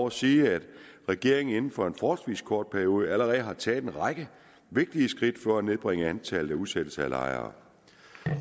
at sige at regeringen inden for en forholdsvis kort periode allerede har taget en række vigtige skridt for at nedbringe antallet af udsættelser af lejere